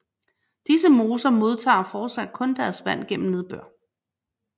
Disse moser modtager fortsat kun deres vand gennem nedbør